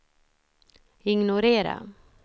ignorera